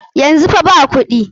Yanzu fa ba kuɗi.